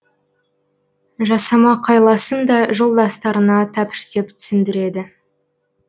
жасамақ айласын да жолдастарына тәпіштеп түсіндіреді